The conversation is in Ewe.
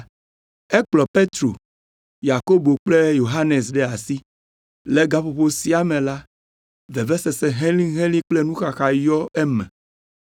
Ekplɔ Petro, Yakobo kple Yohanes ɖe asi. Le gaƒoƒo sia me la, vevesese helĩhelĩ kple nuxaxa yɔ eme.